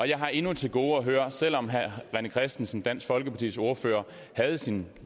jeg har endnu til gode at høre selv om herre rené christensen dansk folkepartis ordfører havde sin